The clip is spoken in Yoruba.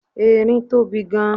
erin tobi gan